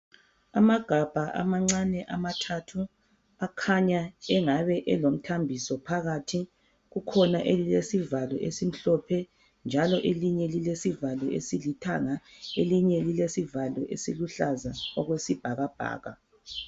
Amagabha amancane amathathu akhanya engabe elomthambiso phakathi kukhona elilesivalo esimhlophe njalo elinye lilesivalo esilithanga elinye lilesivalo esiluhlaza okwesibhakabhaka.